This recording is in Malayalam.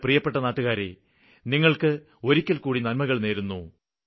എന്റെ പ്രിയപ്പെട്ട നാട്ടുകാരേ നിങ്ങള്ക്ക് ഒരിക്കല്ക്കൂടി നന്മകള് നേരുന്നു